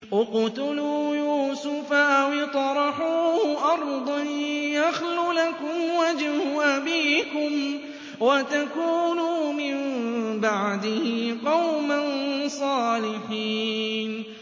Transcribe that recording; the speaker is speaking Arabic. اقْتُلُوا يُوسُفَ أَوِ اطْرَحُوهُ أَرْضًا يَخْلُ لَكُمْ وَجْهُ أَبِيكُمْ وَتَكُونُوا مِن بَعْدِهِ قَوْمًا صَالِحِينَ